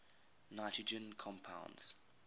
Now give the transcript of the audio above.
nitrogen compounds